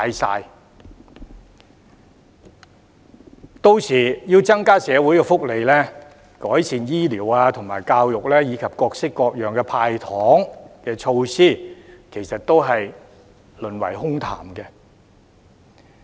屆時要增加社會福利、改善醫療及教育，以及各式各樣的"派糖"措施，其實都會淪為空談。